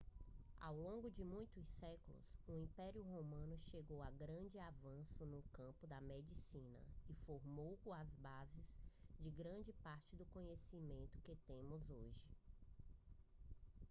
ao longo de muitos séculos o império romano chegou a grandes avanços no campo da medicina e formou as bases de grande parte do conhecimento que temos hoje